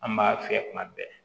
An b'a fiyɛ kuma bɛɛ